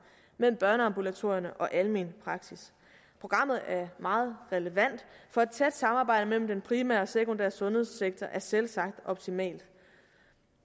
mellem børneambulatorierne og almen praksis programmet er meget relevant for et tæt samarbejde mellem den primære og den sekundære sundhedssektor er selvsagt optimalt